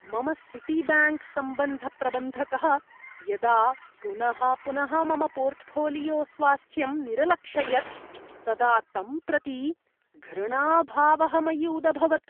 मम सिटीब्याङ्क् सम्बन्धप्रबन्धकः यदा पुनः पुनः मम पोर्टफ़ोलियोस्वास्थ्यम् निरलक्षयत् तदा तं प्रति घृणाभावः मयि उदभवत्।